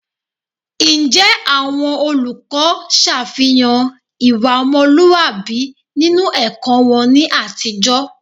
Be mẹplọntọ lọ lẹ zinnudo azọngban walọ dagbe tọn ji to nuplọnmẹ yetọn lẹ mẹ to hohowhenu ya?